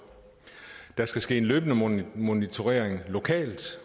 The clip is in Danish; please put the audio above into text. der skal ske en løbende monitorering lokalt